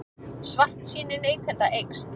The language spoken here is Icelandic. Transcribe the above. Svartsýni neytenda eykst